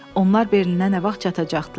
Onlar Berlinə nə vaxt çatacaqdılar?